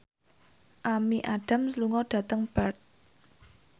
Amy Adams lunga dhateng Perth